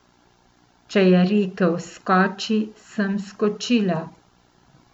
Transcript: Če je rekel skoči, sem skočila.